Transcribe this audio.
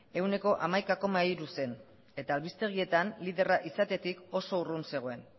ehuneko hamaika koma hiru zen eta albistegietan liderra izatetik oso urrun zegoen